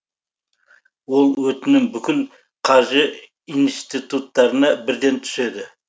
ол өтінім бүкіл қаржы институттарына бірден түседі